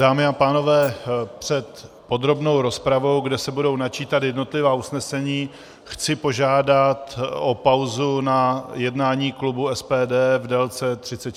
Dámy a pánové, před podrobnou rozpravou, kde se budou načítat jednotlivá usnesení, chci požádat o pauzu na jednání klubu SPD v délce 30 minut.